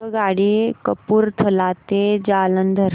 आगगाडी कपूरथला ते जालंधर